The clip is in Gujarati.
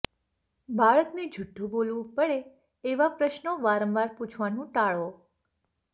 બાળકને જૂઠું બોલવું પડે એવા પ્રશ્નો વારંવાર પૂછવાનું ટાળો